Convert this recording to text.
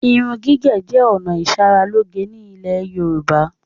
Irun gígẹ̀ jẹ ọ̀nà ìsaráloge ni ilẹ̀ Yorùbá.